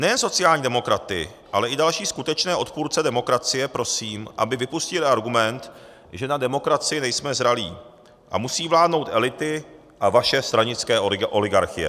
Nejen sociální demokraty, ale i další skutečné odpůrce demokracie prosím, aby vypustili argument, že na demokracii nejsme zralí a musí vládnout elity a vaše stranické oligarchie.